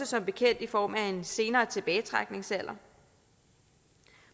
som bekendt i form af en senere tilbagetrækningsalder